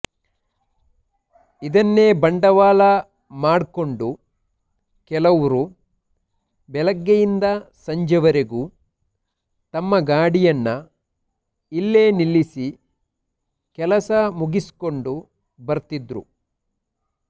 ಇದನ್ನೇ ಬಂಡವಾಳ ಮಾಡ್ಕೊಂಡು ಕೆಲವ್ರು ಬೆಳಗ್ಗೆಯಿಂದ ಸಂಜೆ ವರೆಗೂ ತಮ್ಮ ಗಾಡಿಯನ್ನ ಇಲ್ಲೇ ನಿಲ್ಲಿಸಿ ಕೆಲಸ ಮುಗಿಸ್ಕೊಂಡು ಬರ್ತಿದ್ರು